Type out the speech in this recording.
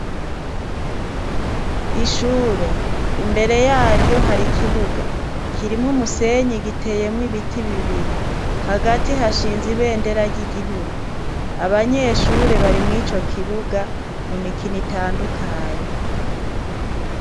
Ishure imbere yaryo hari ikibuga kirimwo umusenyi giteyemwo ibiti bibiri hagati hashinze ibendera ry'igihugu abanyeshure bari mw'ico kibuga mu mikino itandukanye.